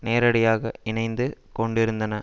நேரடியாக இணைந்து கொண்டிருந்தன